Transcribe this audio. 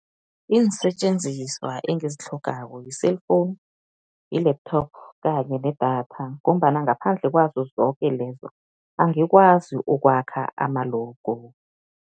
Iinsetjenziswa engazitlhogako yi-cellphone, yi-laptop kanye nedatha ngombana ngaphandle kwazo zoke lezo, angikwazi ukwakha ama-logo.